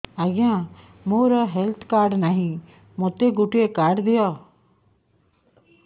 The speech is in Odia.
ଆଜ୍ଞା ମୋର ହେଲ୍ଥ କାର୍ଡ ନାହିଁ ମୋତେ ଗୋଟେ କାର୍ଡ ଦିଅ